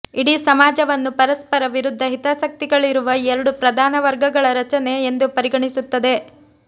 ಇಡೀ ಸಮಾಜವನ್ನು ಪರಸ್ಪರ ವಿರುದ್ಧ ಹಿತಾಸಕ್ತಿಗಳಿರುವ ಎರಡು ಪ್ರಧಾನ ವರ್ಗಗಳ ರಚನೆ ಎಂದು ಪರಿಗಣಿಸುತ್ತದೆ